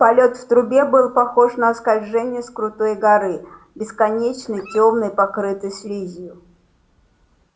полет в трубе был похож на скольжение с крутой горы бесконечной тёмной покрытой слизью